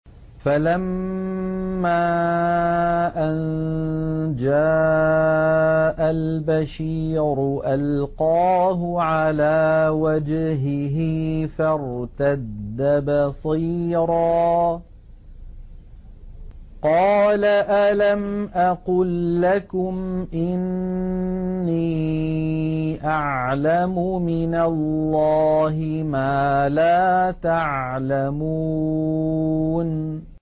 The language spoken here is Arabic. فَلَمَّا أَن جَاءَ الْبَشِيرُ أَلْقَاهُ عَلَىٰ وَجْهِهِ فَارْتَدَّ بَصِيرًا ۖ قَالَ أَلَمْ أَقُل لَّكُمْ إِنِّي أَعْلَمُ مِنَ اللَّهِ مَا لَا تَعْلَمُونَ